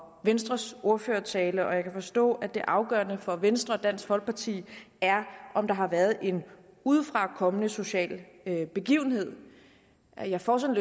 venstres ordførertaler og jeg kan forstå at det afgørende for venstre og dansk folkeparti er om der har været en udefrakommende social begivenhed så jeg får sådan